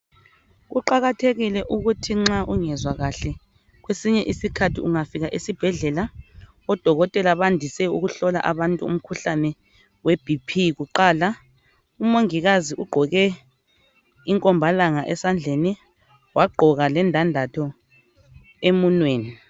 Kuqakathekile ukuthi nxa ungezwa kahle kwesinye isikhathi ungafika esibhedlela odokotela bandise ukuhlola abantu umkhuhlane weBP kuqala. Umongikazi ugqoke inkombalanga esandleni wagqoka lendandatho emunweni.